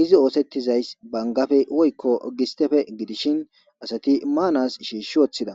izi oosettizays bangafe woykko gistefe gidishin asati maanas shiishshi woththida